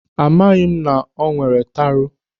Amaghịdị m na ọ nwere taro.